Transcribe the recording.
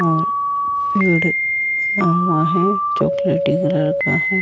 और पेड़ बना हुआ है चॉकलेटी कलर का है।